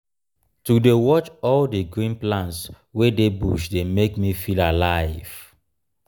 to dey watch all di green plants wey dey bush dey make me feel alive.